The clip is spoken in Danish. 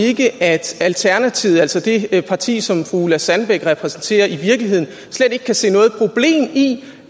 ikke at alternativet altså det parti som fru ulla sandbæk repræsenterer i virkeligheden slet ikke kan se noget problem i